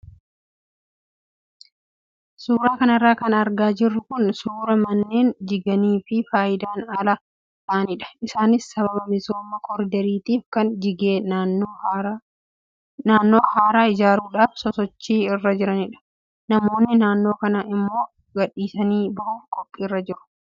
Suuraa kanarra kan argaa jirru kun suuraa manneen jiganii fayidaan ala ta'anidha. Isaanis sababa misooma koriidariitiif kan jigee naannoo haaraa ijaaruudhaaf sosochii irra jirudha. Namoonnii naannoo kanaa immoo gadhiisanii bahuuf qophiirra jiru.